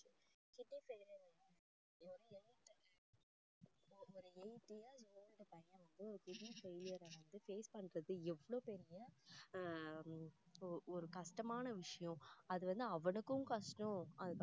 kidney failure ஒரு eight years old பையன் வந்து kidney failure அ face பண்றது எவ்ளோ பெரிய அஹ் ஒரு கஷ்டமான விஷயம் அது வந்து அவனுக்கும் கஷ்டம்